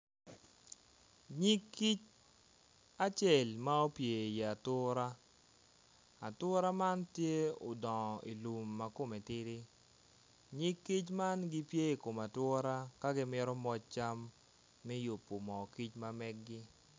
Nyig kic acel ma opyer i wi atura atura man tye odongo i lum ma kome tidi, nyig kic man gitye i kom ature ka gi mito moc cam me yubo mo kic mamegi.